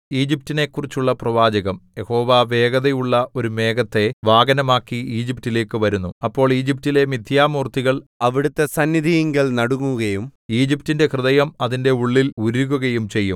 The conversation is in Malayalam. ഈജിപ്റ്റിനെക്കുറിച്ചുള്ള പ്രവാചകം യഹോവ വേഗതയുള്ള ഒരു മേഘത്തെ വാഹനമാക്കി ഈജിപ്റ്റിലേക്കു വരുന്നു അപ്പോൾ ഈജിപ്റ്റിലെ മിഥ്യാമൂർത്തികൾ അവിടുത്തെ സന്നിധിയിങ്കൽ നടുങ്ങുകയും ഈജിപ്റ്റിന്റെ ഹൃദയം അതിന്റെ ഉള്ളിൽ ഉരുകുകയും ചെയ്യും